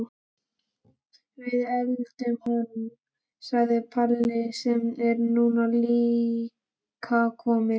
Við eltum hann, segir Palli sem er nú líka kominn.